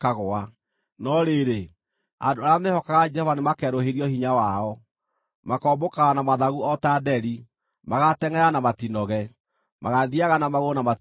no rĩrĩ, andũ arĩa mehokaga Jehova nĩmakerũhĩrio hinya wao. Makombũkaga na mathagu o ta nderi; magaatengʼera na matinoge, magaathiiaga na magũrũ na matiũrwo nĩ hinya.